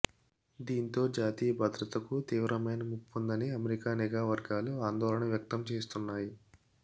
దీంతో జాతీయ భద్రతకు తీవ్రమైన ముప్పుందని అమెరికా నిఘా వర్గాలు ఆందోళన వ్యక్తం చేస్తున్నాయి